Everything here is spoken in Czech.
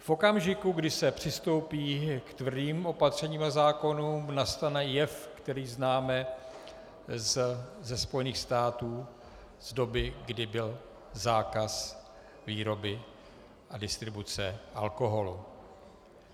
V okamžiku, kdy se přistoupí k tvrdým opatřením a zákonům, nastane jev, který známe ze Spojených států z doby, kdy byl zákaz výroby a distribuce alkoholu.